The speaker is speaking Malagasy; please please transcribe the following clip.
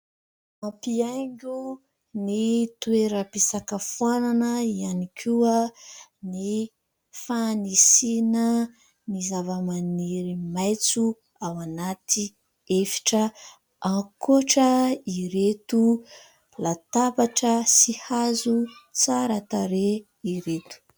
Mampihaingo ny toeram-pisakafoanana ihany koa ny fanisiana ny zavamaniry maitso ao anaty efitra, ankoatra ireto latabatra sy hazo tsara tarehy ireto.